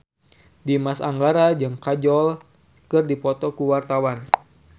Dimas Anggara jeung Kajol keur dipoto ku wartawan